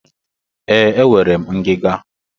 Ee, enwere m ngiga.